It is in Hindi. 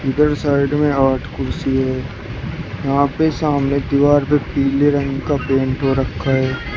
इधर साइड में आठ कुर्सी है यहां पे सामने दीवार पे पीले रंग का पेंट हो रखा है।